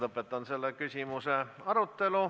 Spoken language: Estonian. Lõpetan selle küsimuse arutelu.